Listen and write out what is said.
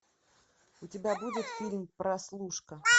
у тебя будет фильм прослушка